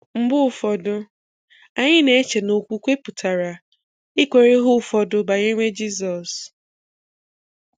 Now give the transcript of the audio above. Mgbe ụfọdụ, anyị n'eche na okwukwe pụtara ị kwere ihe ụfọdụ banyere Jizọs.